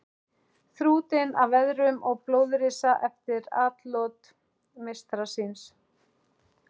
Þrútinn af veðrum og blóðrisa eftir atlot meistara síns.